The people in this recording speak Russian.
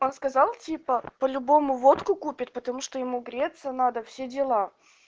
он сказал типа по-любому водку купит потому что ему греться надо все дела